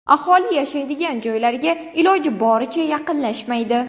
Aholi yashaydigan joylarga iloji boricha yaqinlashmaydi.